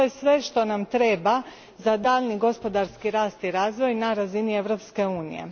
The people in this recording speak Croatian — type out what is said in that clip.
To je sve što nam treba za daljnji gospodarski rast i razvoj na razini Europske unije.